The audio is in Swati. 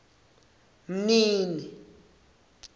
mnini